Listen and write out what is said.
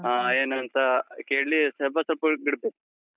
ಹ ಏನೂಂತ ಕೇಳಿ, ಸ್ವಲ್ಪ ಸ್ವಲ್ಪವೇ ಬಿಡ್ಬೇಕು.